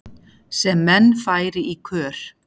sem menn færi í kör